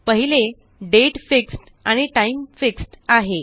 पहिले दाते आणि टाइम आहे